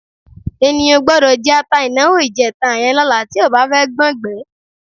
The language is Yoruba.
Ènìyàn ò gbọ́dọ̀ jẹ ata ìnáwó ìjẹta yẹn lọ́la tí ò bá fẹ́ gbọ́ngbẹ̀ẹ́.